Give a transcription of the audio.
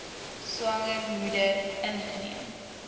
swanger moeder ingeneem